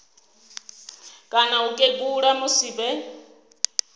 kana u kegula musi vhe